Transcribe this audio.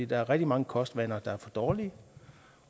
der er rigtig mange kostvaner der er for dårlige